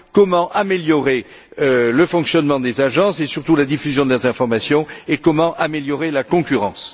Comment améliorer le fonctionnement des agences et surtout la diffusion des informations, et comment améliorer la concurrence?